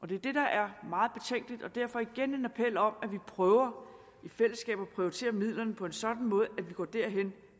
det er det der er meget betænkeligt derfor igen en appel om at vi prøver i fællesskab at prioritere midlerne på en sådan måde at vi går derhen